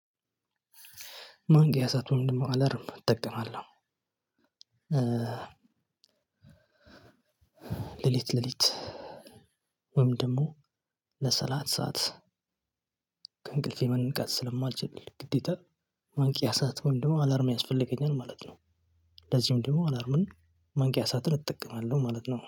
ማንቂያ ሰዓት ወይም ደግሞ አላርም እጠቀማለሁ ሌሊት ሌሊት ወይም ደግሞ ለሰላሳ ሰዓት ከእንቅልፌ መንቃት ስለማልችል ግዴታ ማንቂያ ሰዓት ወይም ደግሞ አላርም ያስፈልገኛል ማለት ነው። ለዚህም ደግሞ አላርሙን ማንቂያ ሰዓትን እጠቀማለሁ ማለት ነው